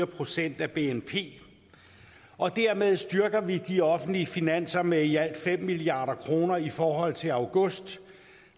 procent af bnp og dermed styrker vi de offentlige finanser med i alt fem milliard kroner i forhold til august